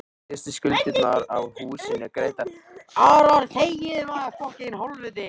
Síðustu skuldirnar af húsinu greiddar.